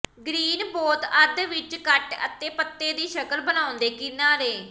green ਬੋਤ ਅੱਧ ਵਿੱਚ ਕੱਟ ਅਤੇ ਪੱਤੇ ਦੀ ਸ਼ਕਲ ਬਣਾਉਣ ਦੇ ਕਿਨਾਰੇ